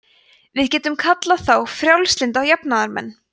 við getum kallað þá frjálslynda jafnaðarmenn